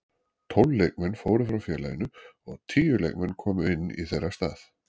Tólf leikmenn fóru frá félaginu og tíu leikmenn komu inn í þeirra stað.